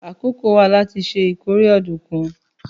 Àkókò wà láti ṣe ìkórè ọ̀dùnkún.